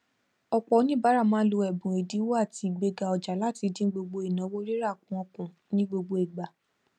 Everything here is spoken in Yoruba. ọpọ onibaara máa ń lo ẹbùn ẹdínwó àti igbega ọjà láti dín gbogbo ìnáwó rírà wọn kù ní gbogbo ìgbà